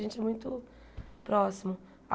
A gente é muito próximo.